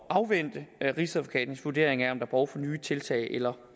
at afvente rigsadvokatens vurdering af om der er brug for nye tiltag eller